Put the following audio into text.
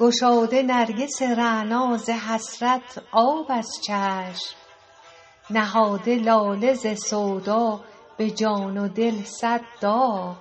گشاده نرگس رعنا ز حسرت آب از چشم نهاده لاله ز سودا به جان و دل صد داغ